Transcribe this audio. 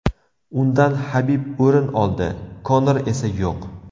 Undan Habib o‘rin oldi, Konor esa yo‘q.